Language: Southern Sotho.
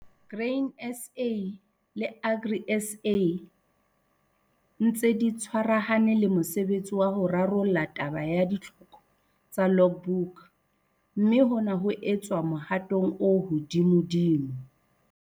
Grain SA le Agri SA di ntse di tshwarahane le mosebetsi wa ho rarolla taba ya ditlhoko tsa logbook, mme hona ho etswa mohatong o hodimodimo.